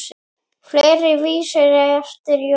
Fleiri vísur eru eftir Jón